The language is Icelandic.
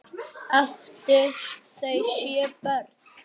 Áttu þau sjö börn.